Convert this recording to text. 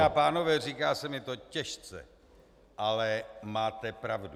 Dámy a pánové, říká se mi to těžce, ale máte pravdu.